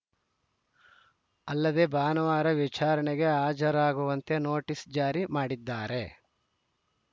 ಅಲ್ಲದೆ ಭಾನುವಾರ ವಿಚಾರಣೆಗೆ ಹಾಜರಾಗುವಂತೆ ನೋಟಿಸ್‌ ಜಾರಿ ಮಾಡಿದ್ದಾರೆ